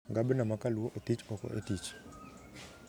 Gabna ma kaluo othich oko e tich